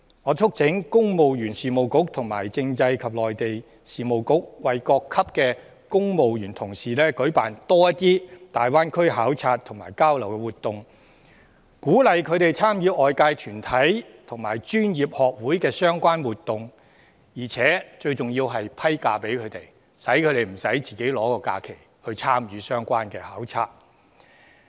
我促請公務員事務局和政制及內地事務局為各級公務員同事多舉辦一些大灣區考察和交流，鼓勵他們參與外界團體和專業學會主辦的相關活動，而且最重要是給予他們假期，讓他們不需使用自己的年假來參與相關的考察。